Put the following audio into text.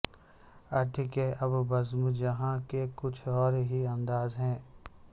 اٹھ کہ اب بزم جہاں کا کچھ اور ہی انداز ہے